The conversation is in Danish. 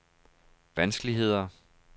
vanskeligheder